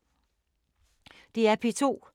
DR P2